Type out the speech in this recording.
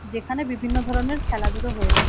যেখানে বিভিন্ন ধরনের খেলাধুলা হয়ে থা--